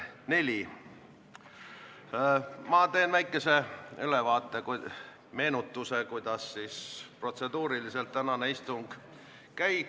Ma teen väikese ülevaate sellest, kuidas tänane istung protseduuriliselt käib.